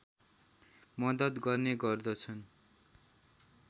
मद्दत गर्ने गर्दछन्